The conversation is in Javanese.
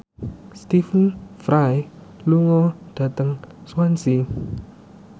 Stephen Fry lunga dhateng Swansea